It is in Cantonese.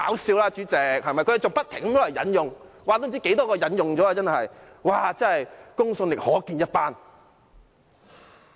代理主席，他們還不停引用調查結果，不知引用了多少次，公信力可見一斑。